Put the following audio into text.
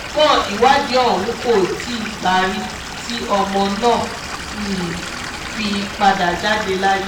ṣùgbọ́n ìwádìí ọ̀hún kò tí ì parí tí ọmọ náà fi padà jáde láyé